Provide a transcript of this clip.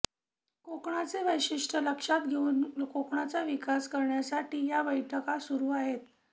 कोकणचे वैशिष्टय़ लक्षात घेऊन कोकणचा विकास करण्यासाठी या बैठका सुरू आहेत